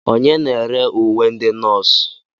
Onye na-ere uwe ndị nọọsụ?